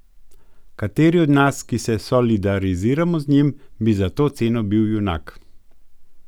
Kateri od nas, ki se solidariziramo z njim, bi za to ceno bil junak?